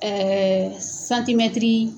.